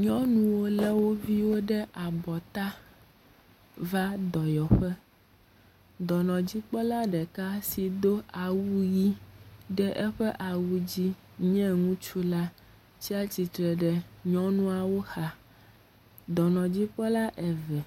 Nyɔnuwo lé wo viwo ɖe abɔta va dɔyɔƒe. Dɔnɔdzikpɔla ɖeka si do awu ʋɛ̃ ɖe eƒe awu dzi nye ŋutsu la, tsatsitre ɖe nyɔnuawo xa. Dɔnɔdzikpɔla eve,